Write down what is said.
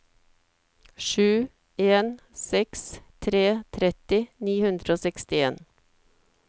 sju en seks tre tretti ni hundre og sekstien